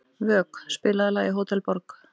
Vök, spilaðu lagið „Hótel Borg“.